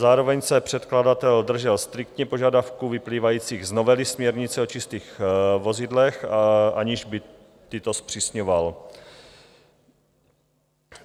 Zároveň se předkladatel držel striktně požadavků vyplývajících z novely směrnice o čistých vozidlech, aniž by tyto zpřísňoval.